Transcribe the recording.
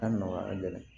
A nɔgɔya ka gɛlɛn